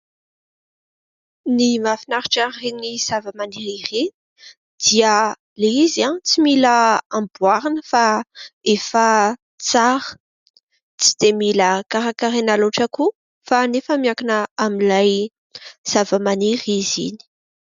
Ny mahafinaritra amin'ireny zava-maniry ireny dia Ilay izy tsy mila amboarina fa efa tsara. Tsy dia mila karakaraina loatra koa fa anefa miankina amin'ilay zava-maniry izy iny.